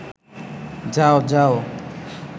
যাও যাও